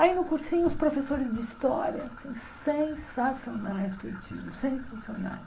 Aí no cursinho, os professores de história, assim sensacionais que eu tive, sensacionais.